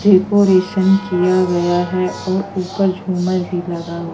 decoration किया गया है और ऊपर झुमर भी लगा हु--